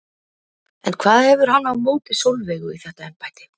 En hvað hefur hann á móti Sólveigu í þetta embætti?